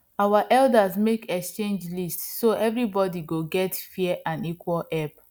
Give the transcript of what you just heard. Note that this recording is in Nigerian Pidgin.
our elders make exchange list so everybody go get fair and equal help